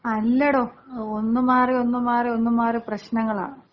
അല്ലടോ ഒന്നു മാറി ഒന്നു മാറി ഒന്നു മാറി പ്രശ്നങ്ങളാ.